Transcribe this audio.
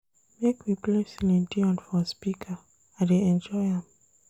Make we play Celine Dion for speaker, I dey enjoy am.